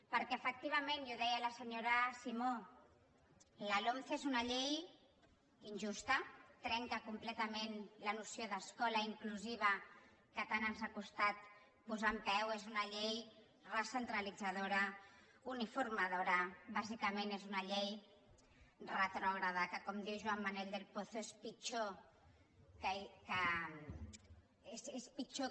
perquè efectivament i ho deia la senyora simó la lomce és una llei injusta trenca completament la noció d’escola inclusiva que tant ens ha costat posar en peu és una llei recentralitzadora uniformadora bàsicament és una llei retrògrada que com diu joan manel del pozo és pitjor